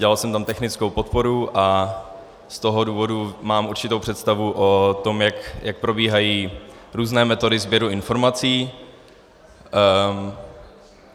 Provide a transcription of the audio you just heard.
Dělal jsem tam technickou podporu a z toho důvodu mám určitou představu o tom, jak probíhají různé metody sběru informací.